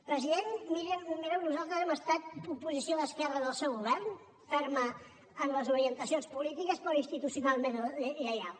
president mireu nosaltres hem estat oposició d’esquerres al seu govern ferma en les orientacions polítiques però institucionalment lleial